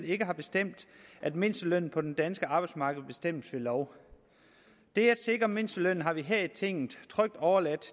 ikke har bestemt at mindstelønnen på det danske arbejdsmarked bestemmes ved lov det at sikre mindstelønnen har vi her i tinget trygt overladt